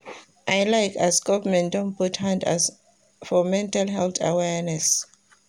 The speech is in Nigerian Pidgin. I like as government don put hand for mental health awareness.